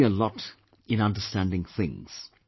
That helps me a lot in understanding things